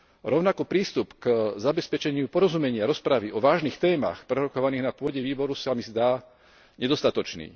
Rovnako prístup k zabezpečeniu porozumenia rozpravy o vážnych témach prerokovaných na pôde výboru sa mi zdá nedostatočný.